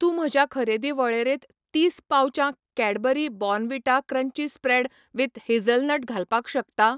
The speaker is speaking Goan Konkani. तूं म्हज्या खरेदी वळेरेंत तीस पाउचां Cadbury Bournvita crunchy spread with hazelnut घालपाक शकता?